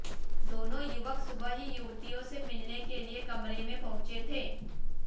दोनों युवक सुबह ही युवतियों से मिलने के लिए कमरे में पहुंचे थे